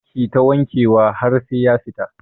Kita wanke wa har sai ya fita